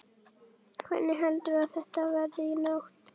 Hvernig heldurðu að þetta verði í nótt?